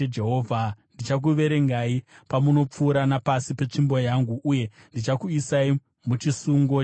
Ndichakuverengai pamunopfuura napasi petsvimbo yangu, uye ndichakuisai muchisungo chesungano.